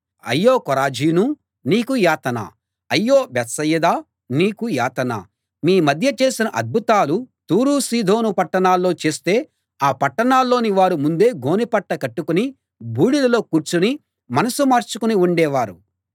అయ్యో కొరాజీనూ నీకు యాతన అయ్యో బేత్సయిదా నీకు యాతన మీ మధ్య చేసిన అద్భుతాలు తూరు సీదోను పట్టణాల్లో చేస్తే ఆ పట్టణాల్లోని వారు ముందే గోనె పట్ట కట్టుకుని బూడిదెలో కూర్చుని మనసు మార్చుకుని ఉండేవారు